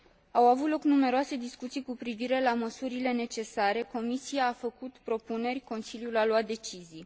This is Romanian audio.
Au avut loc numeroase discuții cu privire la măsurile necesare, Comisia a făcut propuneri, Consiliul a luat decizii.